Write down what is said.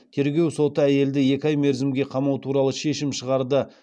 тергеу соты әйелді екі ай мерзімге қамау туралы шешім шығарды